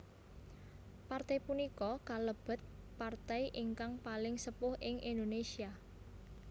Partai punika kalebet partai ingkang paling sepuh ing Indonesia